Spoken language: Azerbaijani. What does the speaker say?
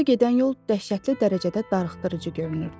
Evə gedən yol dəhşətli dərəcədə darıxdırıcı görünürdü.